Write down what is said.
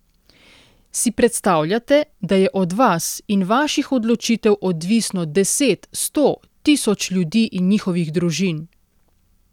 Si predstavljate, da je od vas in vaših odločitev odvisno deset, sto, tisoč ljudi in njihovih družin?